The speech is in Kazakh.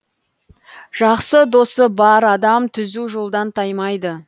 жақсы досы бар адам түзу жолдан таймайды